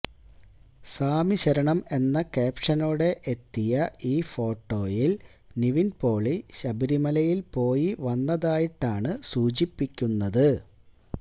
സ്വാമി ശരണം എന്ന ക്യാപ്ഷനോടെ എത്തിയ ഈ ഫോട്ടോയില് നിവിന് പോളി ശബരിമലയില് പോയി വന്നതായിട്ടാണ് സൂചിപ്പിക്കുന്നത്